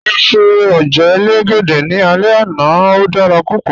Mọ ṣẹ̀ ojẹ́ èlégédẹ̀ ní àlẹ̀ ẹna, ó dára púpọ̀